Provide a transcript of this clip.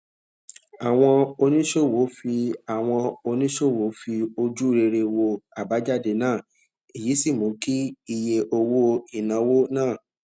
àwọn oníṣòwò fi àwọn oníṣòwò fi ojú rere wo àbájáde náà èyí sì mú kí iye owó ìnáwó náà